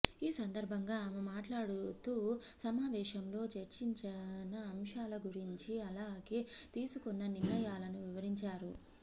ఈ సందర్భంగా ఆమె మాట్లాడుతూ సమావేశంలో చర్చించన అంశాల గురించి అలాగే తీసుకున్న నిర్ణయాలను వివరించారు